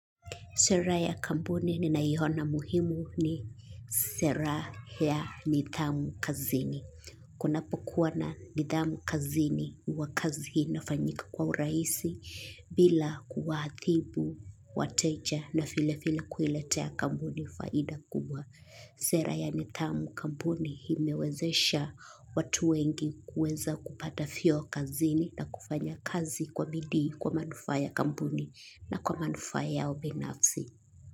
Sera ya kampuni ninayoiona muhimu ni sera ya nidhamu kazini. Kunapokuwa na nidhamu kazini huwa kazi inafanyika kwa urahisi bila kuwaathibu, wateja na vile vile kuiletea kampuni faida kubwa. Sera ya nidhamu kampuni imewezesha watu wengi kuweza kupata vyeo kazini na kufanya kazi kwa bidii kwa manufaa ya kampuni na kwa manufaa ya ubinafsi.